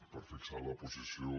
per fixar la posició